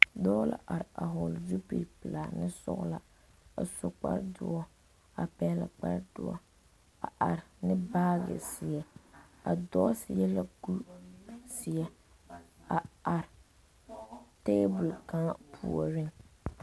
Dɔɔ la are a vɔgle zupili pelaa ne sɔgla a su kpare doɔ a pɛgle kpare doɔ a are ne baagi zeɛ a dɔɔ seɛ la kuri zeɛ a are tɛbol kaŋa puori.